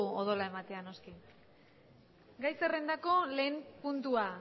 odola ematera noski gai zerrendako lehen puntua